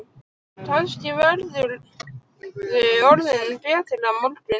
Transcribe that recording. Kannski verðurðu orðinn betri á morgun.